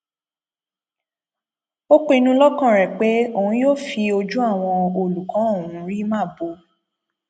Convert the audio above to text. ó pinnu lọkàn rẹ pé òun yóò fi ojú àwọn olùkọ ọhún rí màbo